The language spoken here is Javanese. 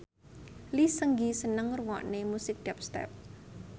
Lee Seung Gi seneng ngrungokne musik dubstep